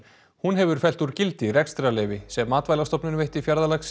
hún hefur fellt úr gildi rekstrarleyfi sem Matvælastofnun veitti